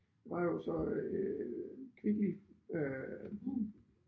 Der var jo så øh Kvickly øh